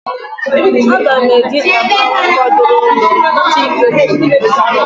Aga m eji tapawa fọdụrụnụ, chika kwuru.